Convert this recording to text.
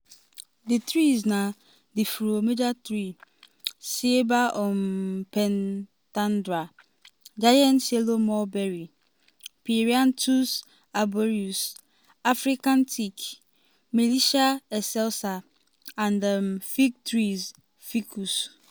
di trees na di fromager tree (ceiba um pentandra) giant yellow mulberry (myrianthus arboreus) african teak (milicia excelsa) um and fig trees (ficus).